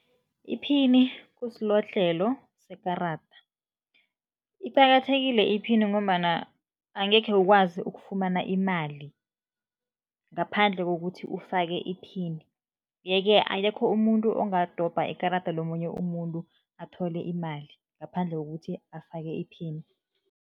Iphini kusilodlhelo sekarada. Iqakathekile iphini ngombana angekhe ukwazi ukufumana imali ngaphandle kokuthi ufake iphini, yeke akekho umuntu ongadobha ikarada lomunye umuntu athole imali ngaphandle kokuthi afake iphini.